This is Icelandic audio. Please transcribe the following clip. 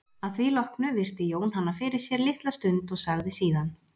Að því loknu virti Jón hana fyrir sér litla stund og sagði síðan